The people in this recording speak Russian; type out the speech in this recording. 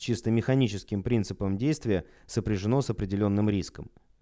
чисто механическим принципом действия сопряжено с определённым риском